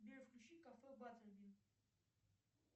сбер включи кафе баттербин